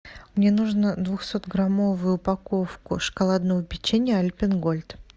мне нужно двухсотграммовую упаковку шоколадного печенья альпен гольд